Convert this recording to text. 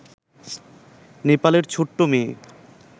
নেপালের ছোট্ট মেয়ে